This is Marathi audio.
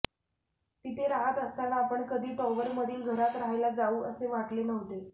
तिथे राहत असताना आपण कधी टॉवरमधील घरात राहायला जाऊ असे वाटले नव्हते